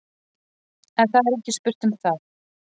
En það er ekki spurt um það.